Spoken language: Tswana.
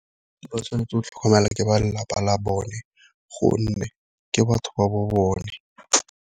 Ke ba tshwanetse go tlhokomelwa ke ba lelapa la bone gonne ke batho ba bo bone.